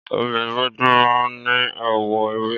Ọbẹ̀ ewédú máa ń ní àwọ̀ ewé.